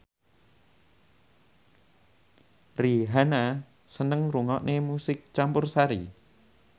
Rihanna seneng ngrungokne musik campursari